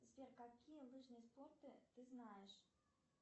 сбер какие лыжные спорты ты знаешь